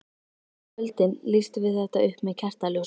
Á kvöldin lýstum við þetta upp með kertaljósum.